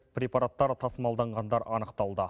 препараттар тасымалданғандар анықталды